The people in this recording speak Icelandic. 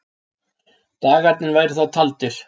Dagarnir væru þá taldir.